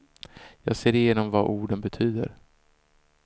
Jag ser igenom vad orden betyder.